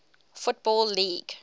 football league